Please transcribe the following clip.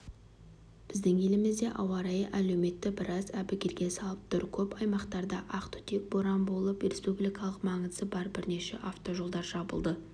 біздің елімізде ауа райы әлеуметті біраз әбігерге салып тұр көп аймақтарда ақ түтек боран болып республикалық маңызы бар бірнеше автожолдар жабылды